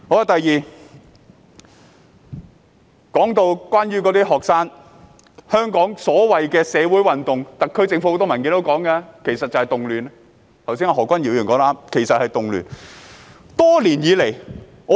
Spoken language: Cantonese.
第二，關於學生和所謂的社會運動，很多特區政府文件也形容為動亂，而何君堯議員剛才說得對，那些其實是動亂。